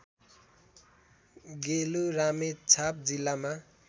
गेलु रामेछाप जिल्लामा